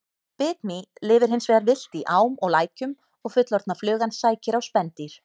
Bitmý lifir hins vegar villt í ám og lækjum og fullorðna flugan sækir á spendýr.